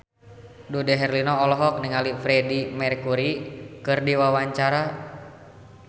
Dude Herlino olohok ningali Freedie Mercury keur diwawancara